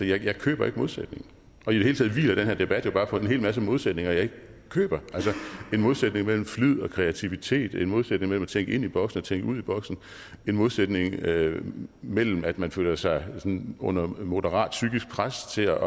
jeg køber ikke modsætningen i det hele taget hviler den her debat jo bare på en hel masse modsætninger jeg ikke køber altså en modsætning mellem flid og kreativitet en modsætning mellem at tænke ind i boksen og tænke ud ad boksen en modsætning mellem mellem at man føler sig under moderat psykisk pres til at